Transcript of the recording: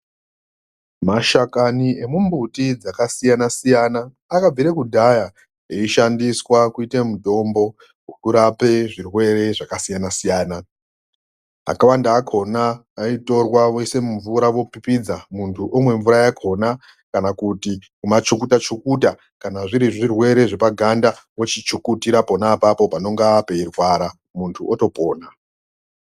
Mashakani emimbuti dzakasiyana siyana akabvire kudhaya eishandiswa kuite mitombo yekurape zvirwere zvakasiyana siyana. Akawanda akhona aitorwa voise mumvura vopipidza munhu womwe mvura yakhona kana kuti kumachukuta chukuta kana zviri zvirwere zvepaganda vochichukutira pona apapo panenge peirwadza munhu wotopona.